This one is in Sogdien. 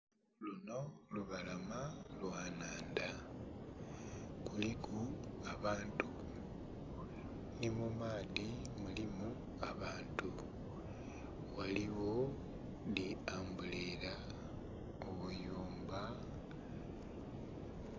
Luno lubalama lwenhandha kuliku abantu nimumaadhi mulimu abantu ghaligho dhi ambulera , obuyumba.